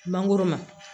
Mangoro ma